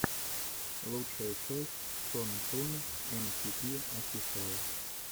лучшая часть сон тун эм ти пи офишиал